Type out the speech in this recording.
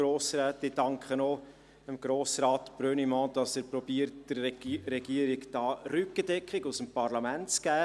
Ich danke auch Grossrat Brönnimann, dass er versucht, der Regierung Rückendeckung aus dem Parlament zu geben.